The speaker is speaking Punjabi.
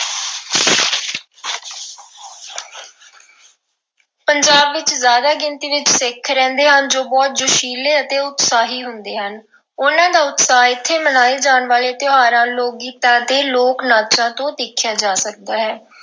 ਪੰਜਾਬ ਵਿੱਚ ਜ਼ਿਆਦਾ ਗਿਣਤੀ ਵਿੱਚ ਸਿੱਖ ਰਹਿੰਦੇ ਹਨ ਜੋ ਬਹੁਤ ਜੋਸ਼ੀਲੇ ਅਤੇ ਉਤਸ਼ਾਹੀ ਹੁੰਦੇ ਹਨ। ਉਨ੍ਹਾਂ ਦਾ ਉਤਸ਼ਾਹ ਇਥੇ ਮਨਾਏ ਜਾਣ ਵਾਲੇ ਤਿਉਹਾਰਾਂ, ਲੋਕ-ਗੀਤਾਂ ਅਤੇ ਲੋਕ-ਨਾਚਾਂ ਤੋਂ ਦੇਖਿਆ ਜਾ ਸਕਦਾ ਹੈ।